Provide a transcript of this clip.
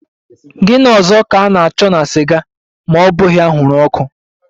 Gini ọzọ ka a na-achọ na siga ma ọ bughi anwuru ọkụ?